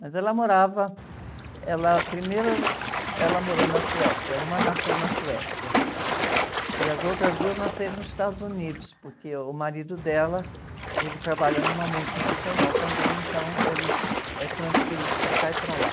Mas ela morava, ela, primeiro ela morou na Suécia, uma nasceu na Suécia, e as outras duas nasceram nos Estados Unidos, porque o marido dela, ele trabalha numa multinacional também, então ele é transferido para cá e para lá.